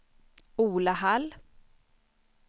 Ola Hall